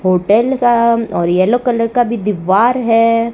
Hotel का और yellow colour का भी दीवार है।